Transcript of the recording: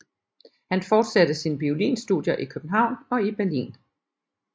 Han forsatte sin violinstudier i København og i Berlin